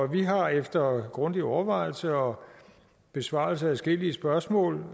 vi har efter grundig overvejelse og besvarelse af adskillige spørgsmål